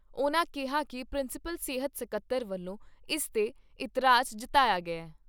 ਉਨ੍ਹਾਂ ਕਿਹਾ ਕਿ ਪ੍ਰਿੰਸੀਪਲ ਸਿਹਤ ਸਕੱਤਰ ਵੱਲੋਂ ਇਸ ਤੇ ਇਤਰਾਜ ਜਤਾਇਆ ਗਿਆ ।